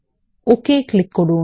ওকে click করুন